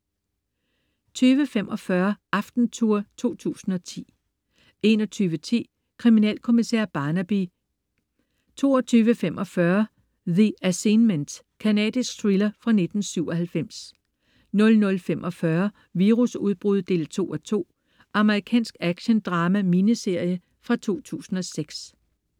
20.45 Aftentour 2010 21.10 Kriminalkommissær Barnaby. Engelsk krimiserie 22.45 The Assignment. Canadisk thriller fra 1997 00.45 Virusudbrud 2:2. Amerikansk actiondrama-miniserie fra 2006